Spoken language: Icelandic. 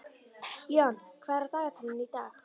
John, hvað er á dagatalinu í dag?